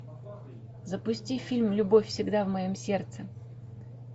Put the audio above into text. запусти фильм любовь всегда в моем сердце